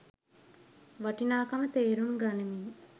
වටිනාකම තේරුම් ගනිමින්,